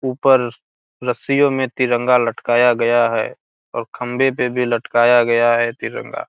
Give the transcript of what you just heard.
ऊपर रस्सियों में तिरंगा लटकाया गया है और खम्बे पे भी लटकाया गया है तिरंगा।